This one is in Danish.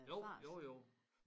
Jo jo jo